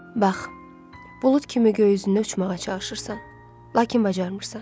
Bax, bulud kimi göy üzündə uçmağa çalışırsan, lakin bacarmırsan.